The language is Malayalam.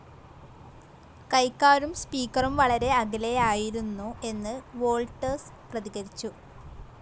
കൈക്കാരും സ്പീക്കറും വളരെ അകലെയായിരുന്നു എന്ന് വോൾട്ടർസ് പ്രതികരിച്ചു.